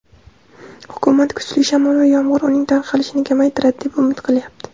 Hukumat kuchli shamol va yomg‘ir uning tarqalishini kamaytiradi deb umid qilyapti.